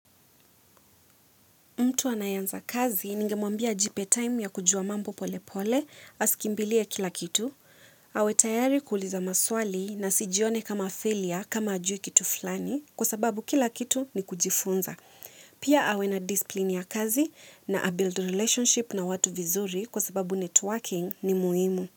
Mtu anayeanza kazi, ningemwambia ajipe time ya kujua mambo pole pole, asikimbilie kila kitu. Awe tayari kuuliza maswali na asijione kama failure kama hajui kitu fulani kwa sababu kila kitu ni kujifunza. Pia awe na discipline ya kazi na a-build relationship na watu vizuri kwa sababu networking ni muhimu.